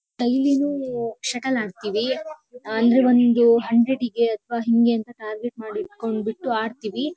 ಅಲ್ಲಿನೂ ಶಟಲ್ ಆಡ್ತೀವಿ. ಅಂದ್ರೆ ಒಂದು ಹನ್ದ್ರೆಡಿಗೆ ಅಥವಾ ಹಿಂಗೆ ಅಂತ ಟಾರ್ಗೆಟ್ ಮಾಡಿ ಇಟ್ಕೊಂಡ್ಬಿಟ್ಟು ಆಡ್ತೀವಿ.